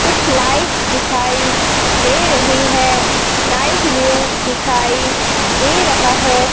कुछ लाइट्स दिखाई दे रही है। नाइट व्यू दिखाई दे रहा है।